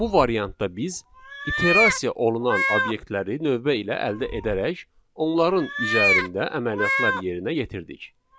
Bu variantda biz iterasiya olunan obyektləri növbə ilə əldə edərək onların üzərində əməliyyatlar yerinə yetirdik.